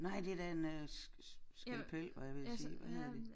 Nej det da en øh skalpel var jeg ved at sige hvad hedder det?